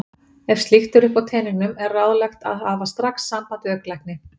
Ef slíkt er uppi á teningnum er ráðlegt að hafa strax samband við augnlækni.